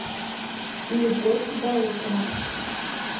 любовь баукова